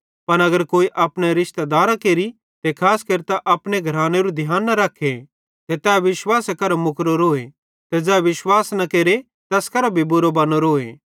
पन अगर कोई अपने रिशतेदारां केरि ते खास केरतां अपने घरानेरू ध्यान न रख्खे ते तै विश्वासे करां मुकरोरोए ते ज़ै विश्वास न केरे तैस करां बुरो बनोरोए